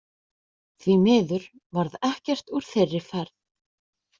Því miður varð ekkert úr þeirri ferð.